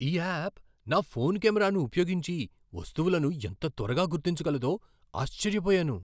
ఈ యాప్ నా ఫోన్ కెమెరాను ఉపయోగించి వస్తువులను ఎంత త్వరగా గుర్తించగలదో ఆశ్చర్యపోయాను!